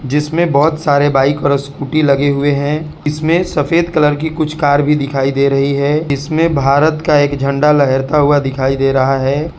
जिसमें बहोत सारे बाइक और स्कूटी लगे हुए हैं इसमें सफेद कलर की कुछ कार भी दिखाई दे रही है इसमें भारत का एक झंडा लहरता हुआ दिखाई दे रहा है।